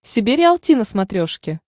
себе риалти на смотрешке